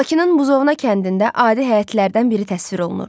Bakının Buzovna kəndində adi həyətlərdən biri təsvir olunur.